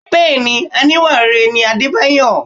Bẹẹni, oníwà rere ni Adebayo.